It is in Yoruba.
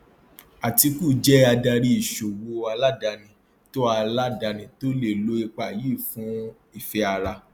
atiku jẹ adarí ìṣòwò aládàáni tó aládàáni tó lè lo ipa yìí fún ìfẹ ara